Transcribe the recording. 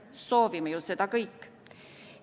Soovime ju seda kõik.